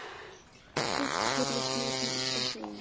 Fyrst heyrðist mér hún alltaf segja